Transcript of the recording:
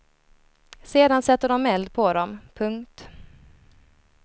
Sedan sätter de eld på dem. punkt